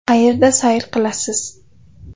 Qayerda sayr qilasiz?